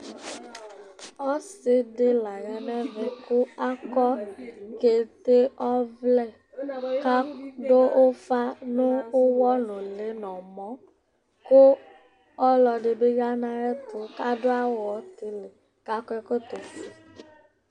ɔsi di la yanu ɛvɛ ku akɔ kete ɔvlɛ ku adu ufa nu uwɔ nu uli nu ɔmɔ, ku ɔlɔdi bi ya nu ayɛtu ku adu awu utili ku akɔ ɛkɔtɔ fue